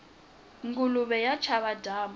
nguluve ya chava dyambu